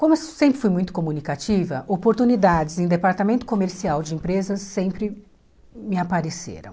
Como eu sempre fui muito comunicativa, oportunidades em departamento comercial de empresas sempre me apareceram.